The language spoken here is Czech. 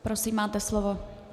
Prosím, máte slovo.